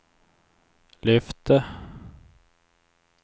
lyfte